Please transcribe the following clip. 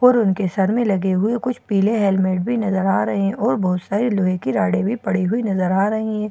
और उनके सर में लगे हुए कुछ पीले हेलमेट भी नजर आ रहे हैं और बहुत सारे लोहे की रॉडे भी पड़ी हुई नजर आ रही है।